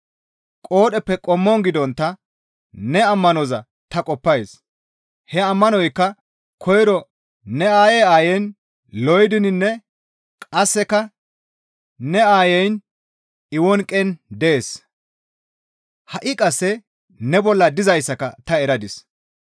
Qoodheppe qommon gidontta ne ammanoza ta qoppays; he ammanoykka koyro ne aayey aayin Loydininne qasseka ne aayeyin Ewonqen dees; ha7i qasse ne bolla dizayssaka ta eradis.